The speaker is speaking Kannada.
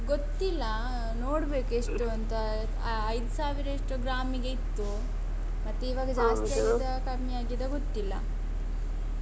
ಗೊತ್ತಿಲ್ಲಾ ನೋಡ್ಬೇಕು ಎಷ್ಟು ಅಂತ ಅ~ ಐದು ಸಾವಿರ ಎಷ್ಟೋ ಗ್ರಾಂಮಿಗೆ ಇತ್ತು ಮತ್ತೆ ಇವಾಗ ಜಾಸ್ತಿ ಆಗಿದಾ ಕಮ್ಮಿ ಆಗಿದಾ ಗೊತ್ತಿಲ್ಲ